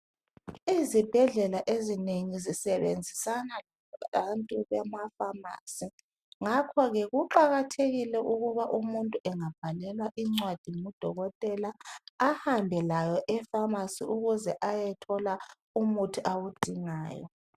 Izibhedlela ezinengi zisebenzisana labantu bamafamasi ngakhoke kuqakathekile ukuba umuntu engabhalelwa incwadi ngudokotela ahambe layo efamasi ukuze ayethola umuthi awudingayo.